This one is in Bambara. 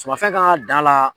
Sumafɛn kan ka dan la